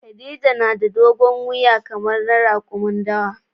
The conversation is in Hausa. Khadija na da dogon wuya kamar na rakumin dawa.